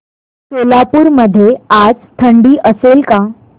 सोलापूर मध्ये आज थंडी असेल का